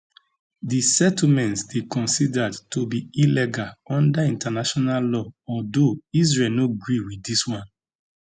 di settlements dey considered to be illegal under international law although israel no agree with dis one